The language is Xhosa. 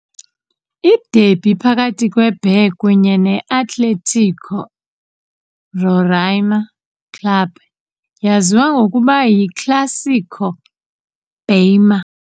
Iderby phakathi kweBaré kunye ne-Atlético Roraima Clube yaziwa ngokuba yiClássico Bareima.